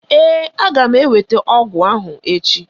Ee, aga m ewete ọgụ ahụ echi.